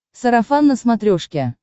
сарафан на смотрешке